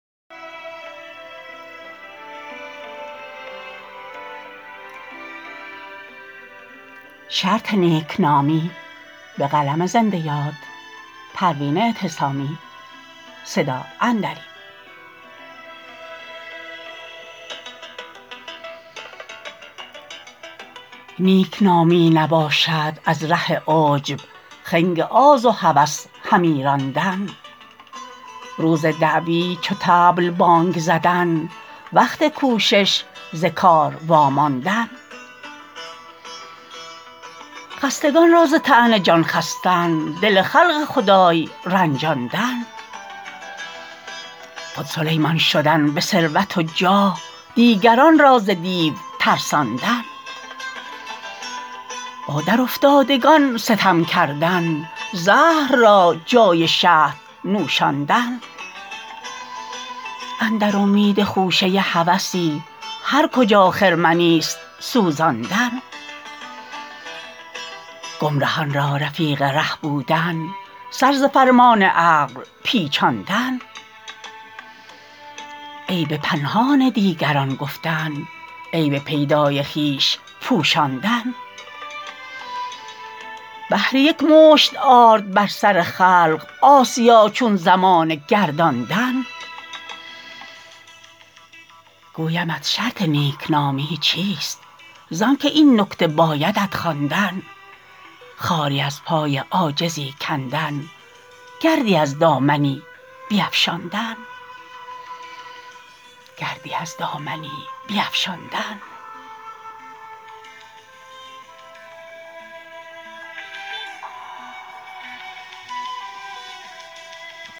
نیکنامی نباشد از ره عجب خنگ آز و هوس همی راندن روز دعوی چو طبل بانگ زدن وقت کوشش ز کار واماندن خستگان را ز طعنه جان خستن دل خلق خدای رنجاندن خود سلیمان شدن به ثروت و جاه دیگران را ز دیو ترساندن با درافتادگان ستم کردن زهر را جای شهد نوشاندن اندر امید خوشه هوسی هر کجا خرمنی است سوزاندن گمرهان را رفیق ره بودن سر ز فرمان عقل پیچاندن عیب پنهان دیگران گفتن عیب پیدای خویش پوشاندن بهر یک مشت آرد بر سر خلق آسیا چون زمانه گرداندن گویمت شرط نیکنامی چیست زانکه این نکته بایدت خواندن خاری از پای عاجزی کندن گردی از دامنی بیفشاندن